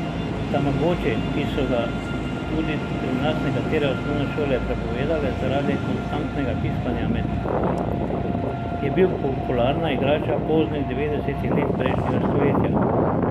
Tamagoči, ki so ga tudi pri nas nekatere osnovne šole prepovedale zaradi konstantnega piskanja med poukom, je bil popularna igrača poznih devetdesetih let prejšnjega stoletja.